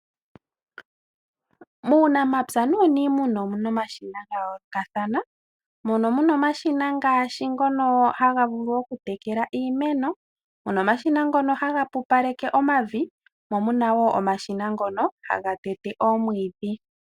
Muunamapya nuuniimuna omu na omashina ga yoolokathana . Mono mu na omashina ngaashi ngono haga vulu oku tekela iimeno, mu na omashina ngono haga pupaleke omavi mo omu na woo omashina ngono haga tete omwiidhi.